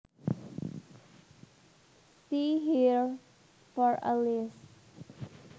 See here for a list